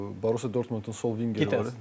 Borusiya Dortmundun sol vingeri.